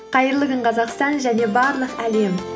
қайырлы күн қазақстан және барлық әлем